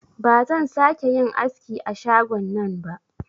Ba zan sa ke yin aski a shagon nan ba